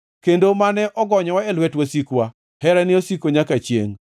kendo mane ogonyowa e lwet wasikwa, Herane osiko nyaka chiengʼ.